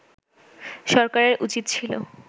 সরকারের উচিত ছিল